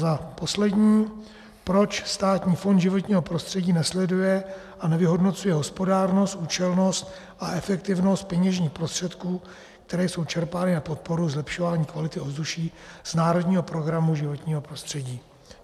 Za poslední: Proč Státní fond životního prostředí nesleduje a nevyhodnocuje hospodárnost, účelnost a efektivitu peněžních prostředků, které jsou čerpány na podporu zlepšování kvality ovzduší z národního programu životního prostředí?